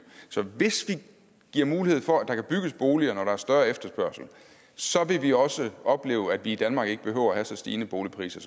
hvis vi giver mulighed for at der kan bygges boliger når der er større efterspørgsel så vil vi også opleve at vi i danmark ikke behøver at have så stigende boligpriser